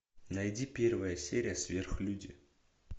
найди первая серия сверхлюди